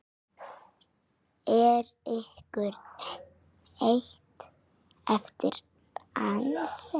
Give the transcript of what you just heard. Er ykkur heitt eftir dansinn?